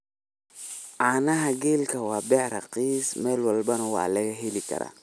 Caanaha geelka waa beec raqiis meel walbona waa lagaheli kara.